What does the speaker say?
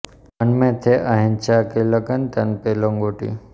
મન મેં થી અહિંસા કી લગન તન પે લંગોટી